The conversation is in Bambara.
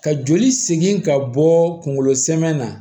Ka joli segin ka bɔ kungolo sɛmɛ na